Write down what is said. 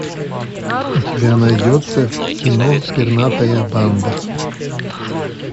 у тебя найдется кино пернатая банда